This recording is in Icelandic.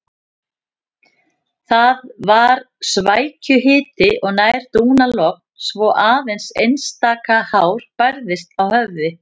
Það var svækjuhiti og nær dúnalogn svo aðeins einstaka hár bærðist á höfði.